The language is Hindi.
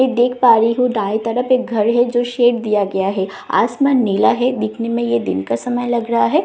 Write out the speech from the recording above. मैं देख पा रही हूँ दाएं तरफ एक घर है जो शेप दिया गया है आसमान नीला है देखने में ये दिन का समय लग रहा है।